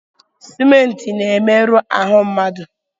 Simenti na-emerụ ahụ mmadụ.